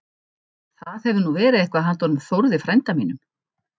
Það hefði nú verið eitthvað handa honum Þórði frænda mínum!